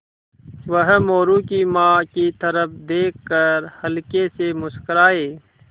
वह मोरू की माँ की तरफ़ देख कर हल्के से मुस्कराये